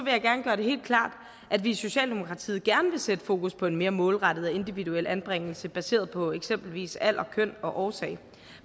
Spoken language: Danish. jeg gerne gøre det helt klart at vi i socialdemokratiet gerne vil sætte fokus på en mere målrettet og individuel anbringelse baseret på eksempelvis alder køn og årsag